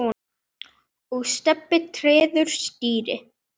og Stebbi treður strý.